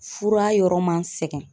Fura yɔrɔ ma n sɛgɛn.